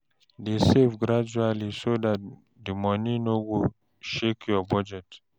Dey save gradually so the money no go shake your budget.